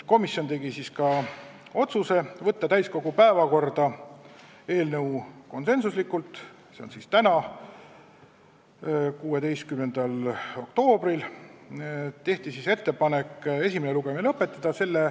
Komisjon tegi ka otsused: tehti ettepanek võtta eelnõu täiskogu päevakorda 16. oktoobril, s.o täna ja esimene lugemine lõpetada .